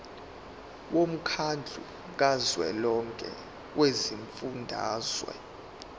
womkhandlu kazwelonke wezifundazwe